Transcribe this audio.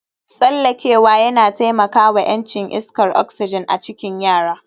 Tsallakewa yana taimaka wa ƴancin iskar oxygen a cikin yara